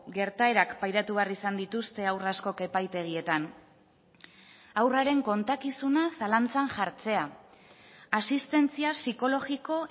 gertaerak pairatu behar izan dituzte haur askok epaitegietan haurraren kontakizuna zalantzan jartzea asistentzia psikologiko